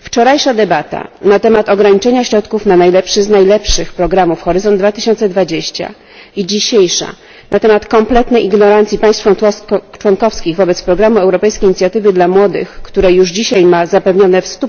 Wczorajsza debata na temat ograniczenia środków na najlepszy z najlepszych programów Horyzont 2020 i dzisiejsza na temat kompletnej ignorancji państw członkowskich wobec programu Europejskiej Inicjatywy dla Młodych, który już dzisiaj ma zapewnione w 100